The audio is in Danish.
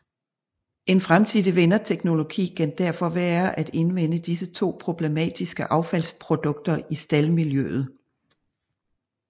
En fremtidig vinderteknologi kan derfor være at indvinde disse to problematiske affaldsprodukter i staldmiljøet